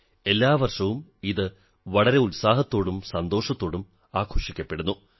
എല്ലാ വർഷവും ഇത് വളരെ ഉത്സാഹത്തോടും സന്തോഷത്തോടും ആഘോഷിക്കപ്പെടുന്നു